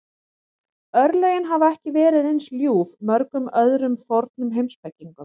Örlögin hafa ekki verið eins ljúf mörgum öðrum fornum heimspekingum.